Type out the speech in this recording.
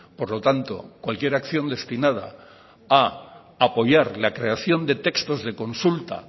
por lo tanto cualquier acción destinada a apoyar la creación de textos de consulta